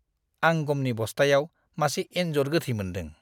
आं गमनि बस्थायाव मासे एनजर गोथै मोनदों।